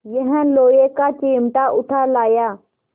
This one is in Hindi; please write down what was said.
यह लोहे का चिमटा उठा लाया